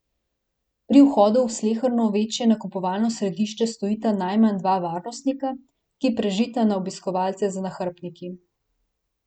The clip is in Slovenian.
Pri vhodu v sleherno večje nakupovalno središče stojita najmanj dva varnostnika, ki prežita na obiskovalce z nahrbtniki.